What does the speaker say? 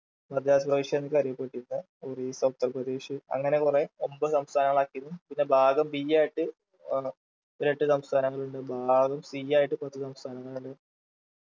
മദ്രാസ് പ്രവിശ്യാന്നൊക്കെ അറിയപ്പെട്ടിരുന്ന ഒറീസ ഉത്തർപ്രദേശ് അങ്ങനെ കൊറേ ഒൻപത് സംസ്ഥാനങ്ങളാക്കിയിരുന്നു പിന്നെ ഭാഗം B ആയിട്ടു ആഹ് ഒരു എട്ട് സംസ്ഥാനങ്ങളുണ്ട് ഭാഗം C ആയിട്ട് പത്ത് സംസ്ഥാനങ്ങളുണ്ട്